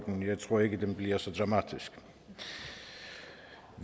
jeg tror ikke at den bliver så dramatisk